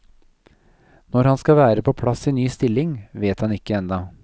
Når han skal være på plass i ny stilling, vet han ikke ennå.